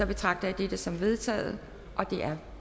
betragter jeg dette som vedtaget det er